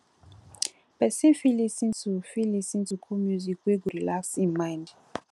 person fit lis ten to fit lis ten to cool music we go relax im mind